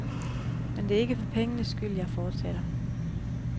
Men det er ikke for pengenes skyld, jeg fortsætter.